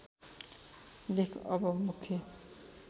लेख अब मुख्य